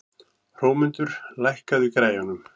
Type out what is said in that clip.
Hrómundur, lækkaðu í græjunum.